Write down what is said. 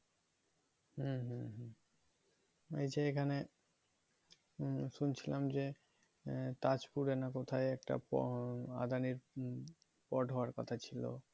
হম হম হম এই যে এখানে মম শুনছিলাম যে আহ তাজপুরে না কোথায় একটা প আদানির পড হওয়ার কথা ছিল